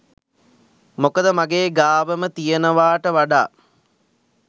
මොකද මගේ ගාවම තියනවාට වඩා